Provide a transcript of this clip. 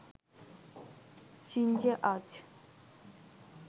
চীন যে আজ